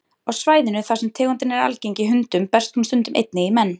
Á svæðum þar sem tegundin er algeng í hundum berst hún stundum einnig í menn.